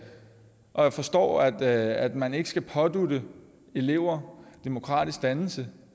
og jeg forstår at at man ikke skal pådutte eleverne demokratisk dannelse